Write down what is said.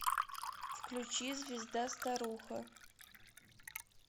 включи звезда старуха